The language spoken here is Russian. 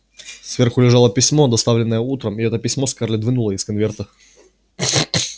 сверху лежало письмо доставленное утром и это письмо скарлетт вынула из конверта